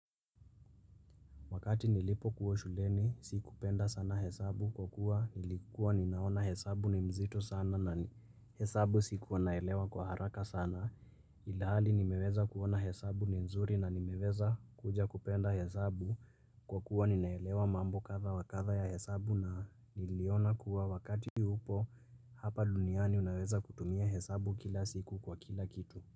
Wakati nilipokua shuleni, si kupenda sana hesabu kwa kuwa nilikuwa ninaona hesabu ni mzito sana na hesabu sikuwa naelewa kwa haraka sana. Ilhali nimeweza kuona hesabu ni nzuri na nimeweza kuja kupenda hesabu kwa kuwa ninaelewa mambo kadha wa kadha ya hesabu na niliona kuwa wakati upo hapa duniani unaweza kutumia hesabu kila siku kwa kila kitu.